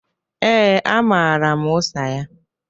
Ee, amara m ụsa ya.